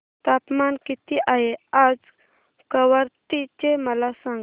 तापमान किती आहे आज कवारत्ती चे मला सांगा